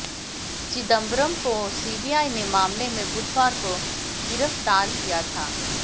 चिदंबरम को सीबीआई ने मामले में बुधवार को गिरफ्तार किया था